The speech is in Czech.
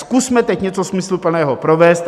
Zkusme teď něco smysluplného provést.